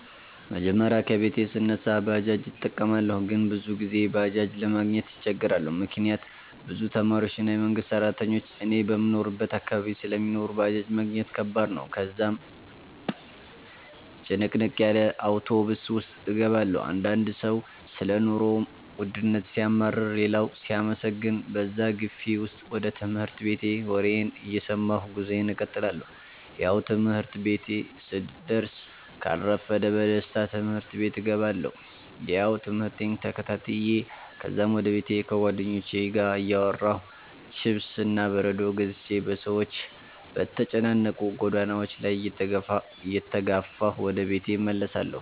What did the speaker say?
መጀመሪያ ከቤቴ ስነሳ ባጃጅ እጠቀማለሁ ግን ብዙ ጊዜ ባጄጅ ለማግኘት እቸገራለሁ፤ ምክንያት ብዙ ተማሪዎች እና የመንግሰት ስራተኞች እኔ በምኖርበት አካባቢ ስለሚኖሩ ባጃጅ ማግኘት ከባድ ነው፤ ከዛም ጭንቅንቅ ያለ አውቶብስ ውስጥ እገባለሁ። አንዳንድ ሰው ሰለ ኑሮ ወድነት ሲያማርር ሌላው ሲያመሰግን በዛ ግፊ ውስጥ ወደ ትምህርት ቤቴ ወሬየን እየሰማሁ ጉዞየን እቀጥላለሁ። ያው ትምህርት ቤቴ ስደስ ካልረፈደ በደስታ ትምህርት ቤቴ እገባለሁ። ያው ትምህርቴን ተከታትዮ ከዛም ወደ ቤቴ ከጉዋደኞቹቼ ጋር እያወራሁ፥ ችፕስ እና በረዶ ገዝቼ በሰዎች በተጨናነቁ ጎዳናዎች ላይ እየተጋፋሁ ወደ ቤቴ እመለሳለሁ